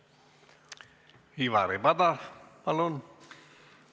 Ivari Padar, palun!